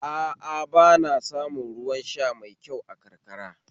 A a ba a samun ruwan sha mai kyau a karkara